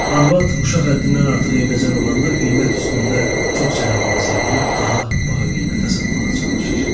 Arvad uşaq həddindən artıq eybəcər olanda qiymət üstündə çox cənəboğaz eləyib daha baha qiymətə satmağa çalışır.